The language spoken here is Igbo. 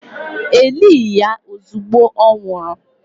E lighi ya ozugbo ọ nwụrụ